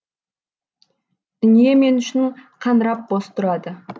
дүние мен үшін қаңырап бос тұрады